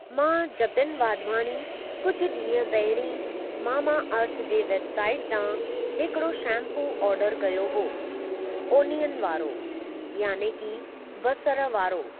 मां जतिन वाधवानी कुझु ॾींहुं पहिरीं मामा अर्थ जे वेबसाइटु तां हिकिड़ो शैम्पू ऑर्डरु कयो हो ओनिअन वारो याने कि बसर वारो।